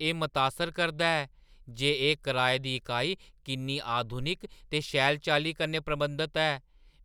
एह् मतासर करदा ऐ जे एह् कराए दी इकाई किन्नी आधुनिक ते शैल चाल्ली कन्नै प्रबंधत ऐ!